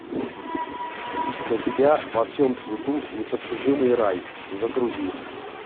для тебя во всем цвету непостижимый рай загрузи